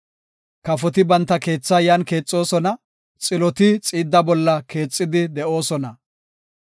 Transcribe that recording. Kafoti banta keetha yan keexoosona; xiloti xiidda bolla keexidi de7oosona.